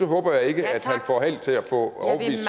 håber jeg ikke han får